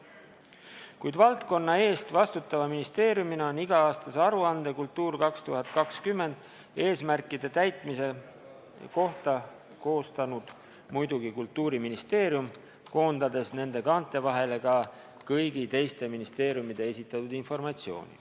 Kuid valdkonna eest vastutava ministeeriumina on iga-aastase aruande "Kultuur 2020" eesmärkide täitmise kohta koostanud muidugi Kultuuriministeerium, koondades nende kaante vahele ka kõigi teiste ministeeriumide esitatud informatsiooni.